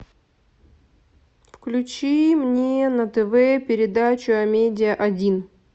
включи мне на тв передачу амедиа один